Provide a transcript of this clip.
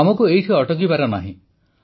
ଆମକୁ ଏଇଠି ଅଟକିବାର ନାହିଁ